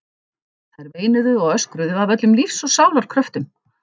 Þær veinuðu og öskruðu af öllum lífs og sálar kröftum.